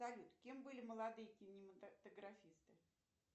салют кем были молодые кинематографисты